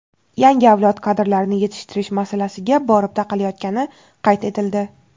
yangi avlod kadrlarini yetishtirish masalasiga borib taqalayotgani qayd etildi.